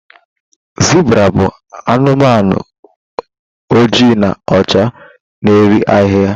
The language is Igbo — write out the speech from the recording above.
zebra bụ anumanu oji na ọcha n'eri ahịhịa